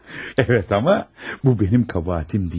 Evet, amma bu mənim kəbahətim deyil.